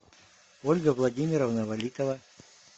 ольга владимировна валитова